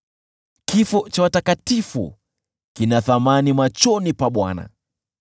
Kifo cha watakatifu kina thamani machoni pa Bwana .